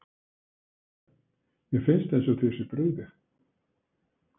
Kristján: Mér finnst eins og þér sé brugðið?